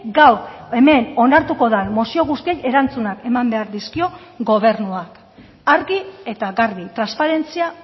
gaur hemen onartuko den mozio guztiei erantzunak eman behar dizkio gobernuak argi eta garbi transparentzia